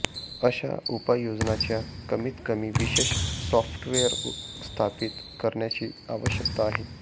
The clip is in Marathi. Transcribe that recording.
अशा उपाययोजनाच्या कमीतकमी विशेष सॉफ्टवेअर स्थापित करण्याची आवश्यकता आहे